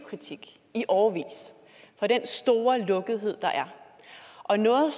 kritik i årevis for den store lukkethed der er og noget